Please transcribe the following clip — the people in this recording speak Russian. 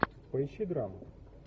поищи драму